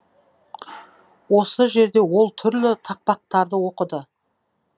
осы жерде ол түрлі тақпақтарды оқыды